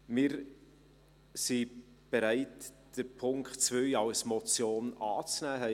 Wir sind bereit, den Punkt 2 als Motion anzunehmen.